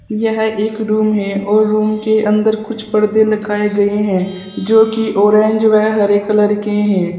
यह एक रूम है और रूम के अंदर कुछ पर्दे लगाए गए हैं जो की ऑरेंज वह हरे कलर के हैं।